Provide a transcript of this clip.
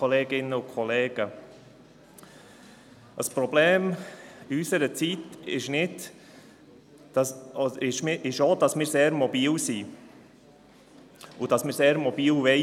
Ein Problem ist unserer Zeit ist auch, dass wir sehr mobil sind und sein wollen.